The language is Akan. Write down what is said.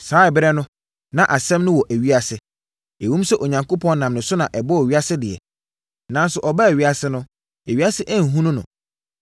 Saa ɛberɛ no, na Asɛm no wɔ ewiase. Ɛwom sɛ Onyankopɔn nam ne so na ɔbɔɔ ewiase deɛ, nanso ɔbaa ewiase no, ewiase anhunu no.